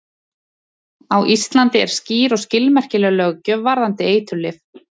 Á Íslandi er skýr og skilmerkileg löggjöf varðandi eiturlyf.